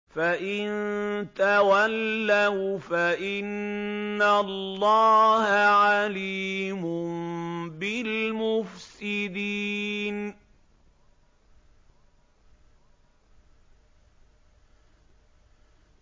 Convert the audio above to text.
فَإِن تَوَلَّوْا فَإِنَّ اللَّهَ عَلِيمٌ بِالْمُفْسِدِينَ